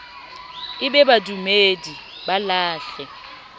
e be badumedi ba lahle